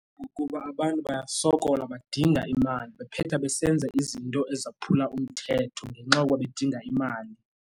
Ngokuba abantu bayasokola badinga imali bephetha besenza izinto ezaphula umthetho ngenxa yokuba bedinga imali.